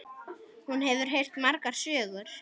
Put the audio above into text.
Hún hefur heyrt margar sögur.